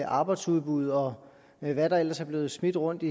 arbejdsudbuddet og hvad der ellers er blevet smidt rundt